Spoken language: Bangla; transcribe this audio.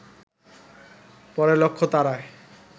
পরে লক্ষ্য তাড়ায়